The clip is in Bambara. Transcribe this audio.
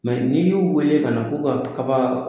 ni y'u wele ka na ko ka kaba